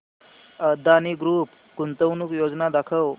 Adani group गुंतवणूक योजना दाखव